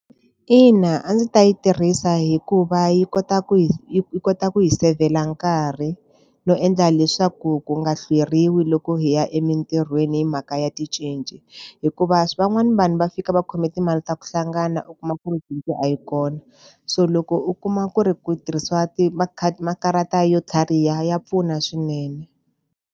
Ina, a ndzi ta yi tirhisa hikuva yi kota ku hi yi kota ku hi seyivhela nkarhi, no endla leswaku ku nga hlweriwi loko hi ya emitirhweni hi mhaka ya ticinci. Hikuva van'wani vanhu va fika va khome timali ta ku hlangana u kuma ku ri cinci a yi kona. So loko u kuma ku ri ku tirhisiwa makhadi makarata yo tlhariha ya pfuna swinene.